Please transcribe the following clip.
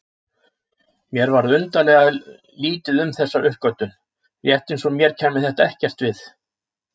Mér varð undarlega lítið um þessa uppgötvun, rétt eins og mér kæmi þetta ekkert við.